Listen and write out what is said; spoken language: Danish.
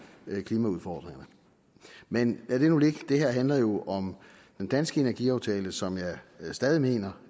klimaudfordringerne men lad det nu ligge det her handler jo om den danske energiaftale som jeg stadig mener